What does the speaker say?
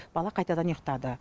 бала қайтадан ұйықтады